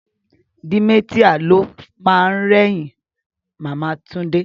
Dementia lo ma rẹ́yìn Màmá Túndé